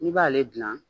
I b'ale gilan